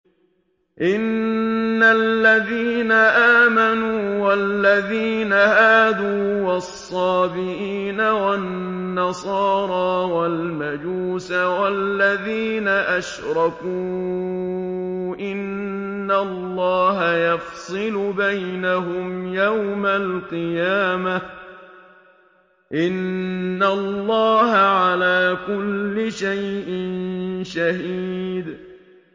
إِنَّ الَّذِينَ آمَنُوا وَالَّذِينَ هَادُوا وَالصَّابِئِينَ وَالنَّصَارَىٰ وَالْمَجُوسَ وَالَّذِينَ أَشْرَكُوا إِنَّ اللَّهَ يَفْصِلُ بَيْنَهُمْ يَوْمَ الْقِيَامَةِ ۚ إِنَّ اللَّهَ عَلَىٰ كُلِّ شَيْءٍ شَهِيدٌ